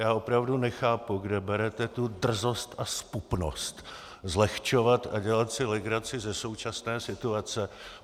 Já opravdu nechápu, kde berete tu drzost a zpupnost zlehčovat a dělat si legraci ze současné situace.